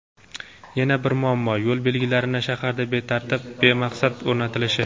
Yana bir muammo: yo‘l belgilarini shaharda betartib va bemaqsad o‘rnatilishi.